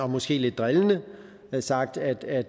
måske lidt drillende sagt at